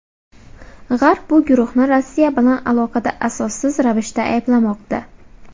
G‘arb bu guruhni Rossiya bilan aloqada asossiz ravishda ayblamoqda.